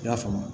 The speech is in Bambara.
I y'a faamu